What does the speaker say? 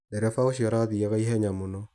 Ndereba ũcio arathiaga ihenya mũno.